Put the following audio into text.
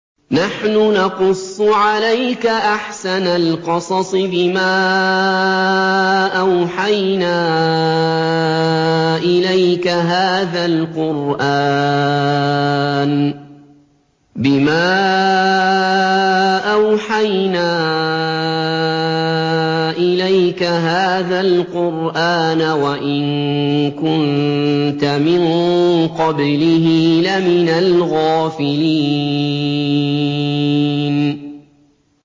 نَحْنُ نَقُصُّ عَلَيْكَ أَحْسَنَ الْقَصَصِ بِمَا أَوْحَيْنَا إِلَيْكَ هَٰذَا الْقُرْآنَ وَإِن كُنتَ مِن قَبْلِهِ لَمِنَ الْغَافِلِينَ